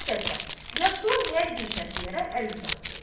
Müxtəsər, yaşının hər güşəsinə əl uzatdı.